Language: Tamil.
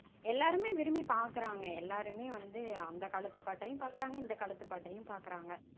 எல்லாருமே விரும்பி பாக்கறாங்க. எல்லாருமே வந்து அந்த காலத்து பாட்டையும் பாக்கறாங்க இந்த காலத்து பாட்டையும் பாக்கறாங்க